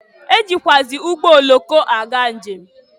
E jikwuazị ụgbọoloko aga nje m.